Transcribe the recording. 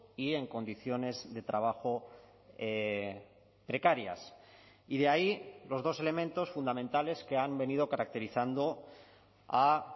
y en condiciones de trabajo precarias y de ahí los dos elementos fundamentales que han venido caracterizando a